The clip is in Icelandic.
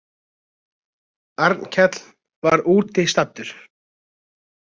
Arnkell var úti staddur.